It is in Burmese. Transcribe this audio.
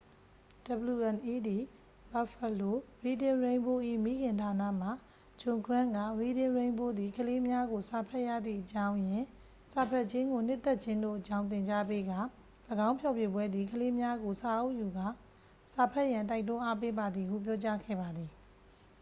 "wned buffalo reading rainbow ၏ မိခင်ဌာန မှ ဂျွန်ဂရန့် က "reading rainbow သည် ကလေးများကို စာဖတ်ရသည့်အကြောင်းရင်း၊...စာဖတ်ခြင်းကိုနှစ်သက်ခြင်းတို့အကြောင်း သင်ကြားပေးကာ — [၎င်းဖျော်ဖြေပွဲ] သည် ကလေးများကို စာအုပ်ယူကာစာဖတ်ရန် တိုက်တွန်းအားပေးပါသည်" ဟု ပြောကြားခဲ့ပါသည်။